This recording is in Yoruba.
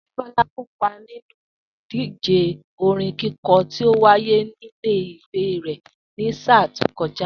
Débó̩lá kò kópa nínú ìdíje orin kíko̩ tí ó wáyé nílé ìwé rè̩ ní sáà tó ko̩já